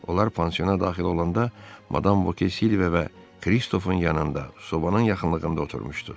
Onlar pansiona daxil olanda madam Voke Silva və Kristofun yanında sobanın yaxınlığında oturmuşdu.